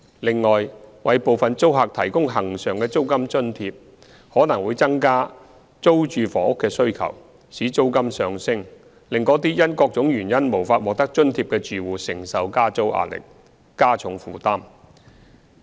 另外，為部分租客提供恆常的租金津貼，可能會增加租住房屋的需求，使租金上升，令那些因各種原因無法獲得津貼的住戶承受加租壓力，加重負擔。